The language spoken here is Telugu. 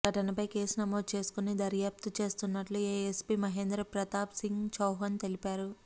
ఘటనపై కేసు నమోదు చేసుకొని దర్యాప్తు చేస్తున్నట్లు ఏఎస్పీ మహేంద్ర ప్రతాప్ సింగ్ చౌహాన్ తెలిపారు